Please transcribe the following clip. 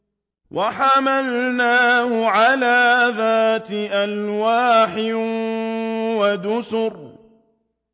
وَحَمَلْنَاهُ عَلَىٰ ذَاتِ أَلْوَاحٍ وَدُسُرٍ